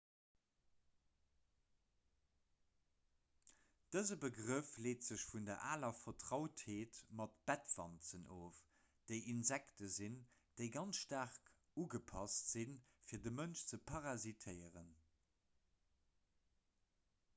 dëse begrëff leet sech vun der aler vertrautheet mat bettwanzen of déi insekte sinn déi ganz staark ugepasst sinn fir de mënsch ze parasitéieren